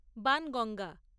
Banganga